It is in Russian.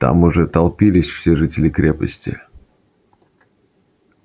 там уже толпились все жители крепости